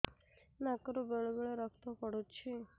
ନାକରୁ ବେଳେ ବେଳେ ରକ୍ତ ପଡୁଛି